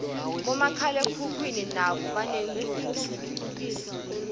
bomakhalekhukhwini nabo banencuco